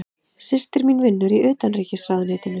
Systir mín vinnur í Utanríkisráðuneytinu.